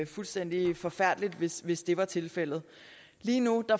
fuldstændig forfærdeligt hvis hvis det var tilfældet lige nu